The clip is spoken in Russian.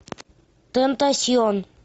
тентасьон